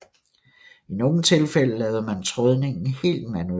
I nogle tilfælde lavede man trådningen helt manuelt